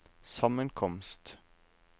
sammenkomst